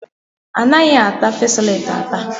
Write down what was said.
Anaghị ata fesoleti ata.